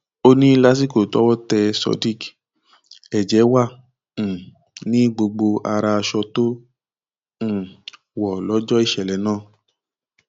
ó ní lásìkò tọwọ tẹ sodiq ẹjẹ wà um ní gbogbo ara aṣọ tó um wọ lọjọ ìṣẹlẹ náà